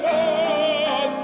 að